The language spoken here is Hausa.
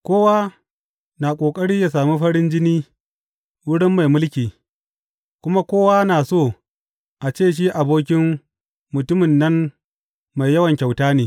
Kowa na ƙoƙari ya sami farin jini wurin mai mulki, kuma kowa na so a ce shi abokin mutumin nan mai yawan kyauta ne.